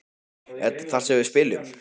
Er þetta þar sem við spilum?